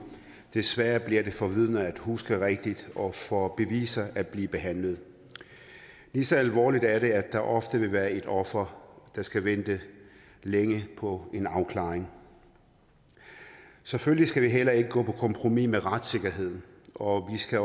des sværere bliver det for vidner at huske rigtigt og for beviser at blive behandlet lige så alvorligt er det at der ofte vil være et offer der skal vente længe på en afklaring selvfølgelig skal vi heller ikke gå på kompromis med retssikkerheden og vi skal